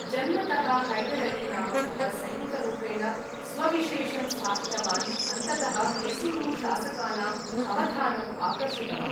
जन्मतः हैदर् अली नामकः, सैनिकरूपेण स्वविशेषं स्थापितवान्, अन्ततः मैसूरु शासकानां अवधानम् आकर्षितवान्।